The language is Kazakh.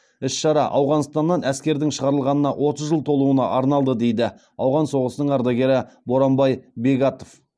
іс шара ауғанстаннан әскердің шығарылғанына отыз жыл толуына арналды дейді ауған соғысының ардагері боранбай бегатов